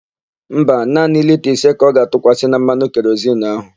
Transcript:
Mba, naanị lita ise ka ọ ga-atụkwasị na mmanụ kerozinu áhụ̀.